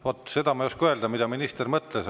Vaat seda ma ei oska öelda, mida minister mõtles.